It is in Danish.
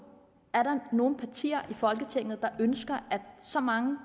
er der nogen partier i folketinget der ønsker at så mange